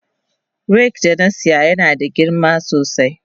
Rake da na saya yana da girma sosai.